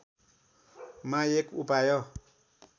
मा एक उपाय